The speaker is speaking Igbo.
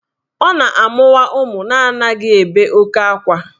Ọ na-amụwa ụmụ na anaghị ebe oke akwa